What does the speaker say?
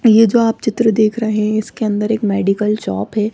ये जो आप चित्र देख रहे हैं इसके अंदर एक मेडिकल शॉप है।